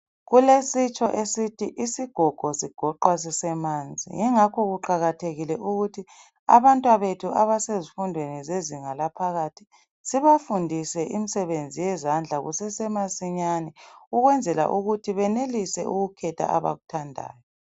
Kulesitsho esithi isigogo sigoqwa sisemanzi yingakho kuqakathekile ukuthi abantwabethu abasezifundweni zezinga laphakathi sibafundise imisebenzi yezandla kusesemasinyane ukwenzala ukuthi benelise ukukhetha abakuthandayo.